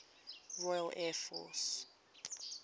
royal air force